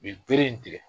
U ye bere in tigɛ